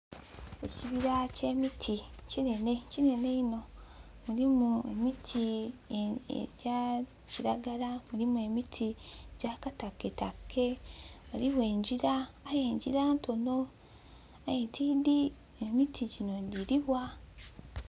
Ekibira kye miti kinene kinene iino mulimu emiti egya kilagala mulimu emiti gya kitaketake waliwo engira aye engira ntono, aye tidhi emiti dhino giriwa.